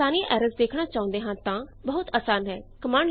ਪਰ ਜੇ ਅਸੀ ਸਾਰੀਆਂ ਐਰਰਜ਼ ਦੇਖਣਾ ਚਾਹੁੰਦੇ ਹਾਂ ਤਾਂ ਬਹੁਤ ਆਸਾਨ ਹੈ